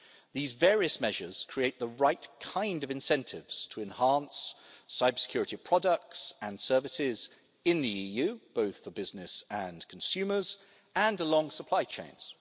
These various measures create the right kind of incentives to enhance cybersecurity products and services in the EU, both for business and consumers, and along supply chains.